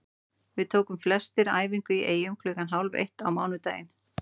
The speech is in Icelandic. Við tókum flestir æfingu í Eyjum klukkan hálf eitt á mánudaginn.